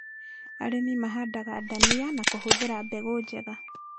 Arĩmi mahandaga ndania na kũhũthĩra mbegũ njega